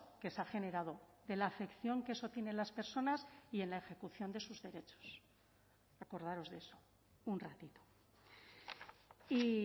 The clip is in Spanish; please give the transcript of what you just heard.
que se ha generado de la afección que eso tiene en las personas y en la ejecución de sus derechos acordaros de eso un ratito y